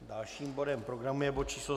Dalším bodem programu je bod číslo